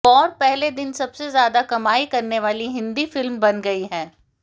war पहले दिन सबसे ज्यादा कमाई करने वाली हिंदी फिल्म बन गई है